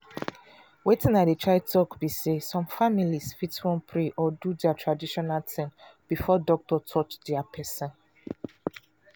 wetin i dey try tok be say some families fit wan pray or do dia traditional tin before doctor touch dia person.